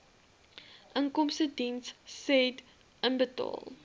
inkomstediens said inbetaal